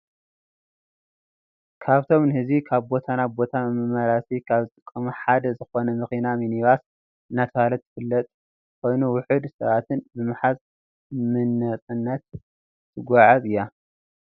ካብቶም ንህዚቢ ካብ ቦታ ናብ ቦታ መመላለሲ ካብ ዝጠቅሙ ሓደ ዝኮነ መኪና ሚኒባስ እናተባህለት ትፍለጥ ኮይና ውሑድ ሰባትን ብምሓዝ ምነፃነት ተጋዓዕዝ እያ።